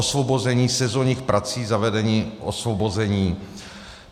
Osvobození sezónních prací, zavedení osvobození.